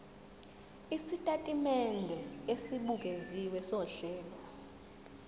isitatimende esibukeziwe sohlelo